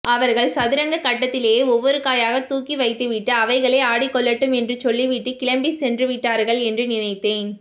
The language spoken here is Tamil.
அவர்கள் சதுரங்கக் கட்டத்திலே ஒவ்வொரு காயாக தூகி வைத்துவிட்டு அவைகளே ஆடிக்கொள்ளட்டும் என்று சொல்லிவிட்டு கிளம்பிச் சென்றுவிட்டார்கள் என்று நினைத்தேன்